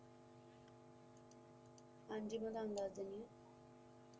ਹਾਂਜੀ ਜੀ ਮਈ ਤਾਨੂੰ ਦੱਸ ਦੇਣੀ